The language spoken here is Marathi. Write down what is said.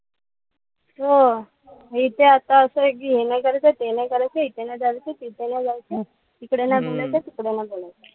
हो, इथे आता असंय कि हे नाई करायचं ते नाई करायचं. इथे नाई जायचं तिथे नाई जायचं. इकडे नाई बोलायचं, तिकडे नाई बोलायचं.